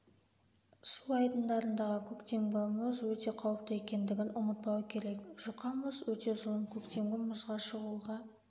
су айдындарындағы көктемгі мұз өте қауіпті екендігін ұмытпау керек жұқа мұз өте зұлым көктемгі мұзға шығуға